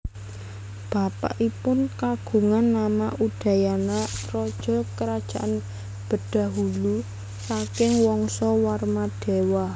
Bapakipun kagungan nama Udayana raja Kerajaan Bedahulu saking Wangsa Warmadewa